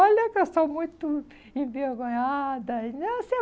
Olha que eu sou muito envergonhada.